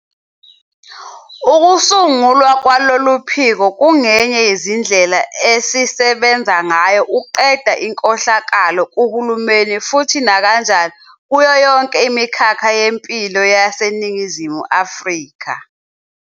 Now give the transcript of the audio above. Ukusungulwa kwalolu phiko kungenye yezindlela esisebenza ngayo ukuqeda inkohlakalo kuhulumeni futhi nakanjani kuyo yonke imikhakha yempilo yaseNingizimu Afrika.